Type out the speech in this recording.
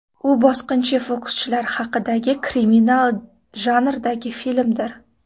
U bosqinchi fokuschilar haqidagi kriminal janridagi filmdir.